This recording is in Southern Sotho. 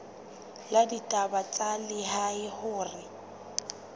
la ditaba tsa lehae hore